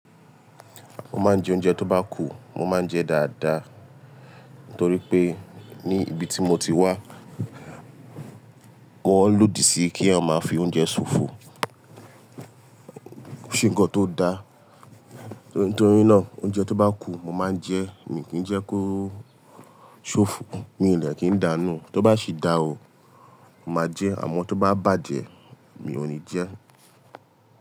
Mo máa ń jẹ oúnjẹ tó bá kù, mo máa ń jẹ dáadáa. Nítorí pé ní ibi tí mo ti wá, wọ́n lòdì sí kí eyan máa fi oúnjẹ ṣòfò. Kò sí ńǹkan tó da. Nítorí náà oúnjẹ tó bá kù mo máa ń jẹ, mi kì í jẹ kó ṣòfò. Mi ò de kín ń dáa nu. Tó bá sì dá o, mo màá jẹ, àmọ́ tó bá bàjẹ́ mi ò ní jẹ ẹ́.